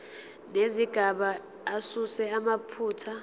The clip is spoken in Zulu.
nezigaba asuse amaphutha